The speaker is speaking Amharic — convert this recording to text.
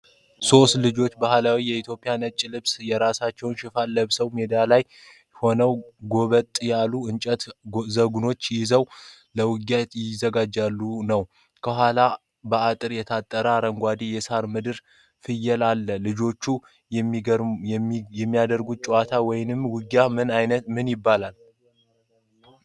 ሦስት ልጆች ባህላዊ የኢትዮጵያ ነጭ ልብስና የራስ መሸፈኛ ለብሰዋል። ሜዳ ላይ ሆነው ጎበጥ ያሉ የእንጨት ዘንጎችን ይዘው ለውጊያ እየተዘጋጁ ነው። ከኋላቸው በአጥር የታጠረ አረንጓዴ የሳር ምድርና ፍየል አለ። ልጆቹ የሚያደርጉት ጨዋታ ወይም ውጊያ ምን ይባላል?